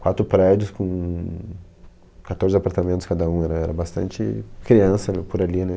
Quatro prédios com quatorze apartamentos cada um, era era bastante criança, né, por ali, né?